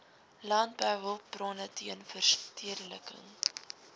landbouhulpbronne teen verstedeliking